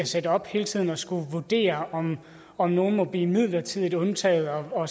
sætte op hele tiden at skulle vurdere om om nogen må blive midlertidigt undtaget og